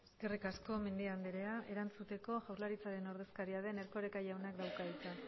eskerrik asko mendia andrea erantzuteko jaurlaritzaren ordezkaria den erkoreka jaunak dauka hitza